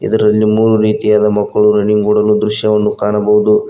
ಇದರಲ್ಲಿ ಮೂರು ರೀತಿಯಾದ ಮಕ್ಕಳು ರನ್ನಿಂಗ್ ಓಡುವ ದೃಶ್ಯವನ್ನು ಕಾಣಬಹುದು.